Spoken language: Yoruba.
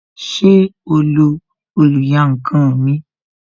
Ṣé o lo oluyankan mi?